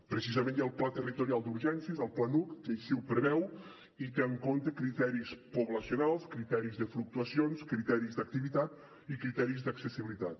precisament hi ha el pla nacional d’urgències el planuc que així ho preveu i té en compte criteris poblacionals criteris de fluctuacions criteris d’activitat i criteris d’accessibilitat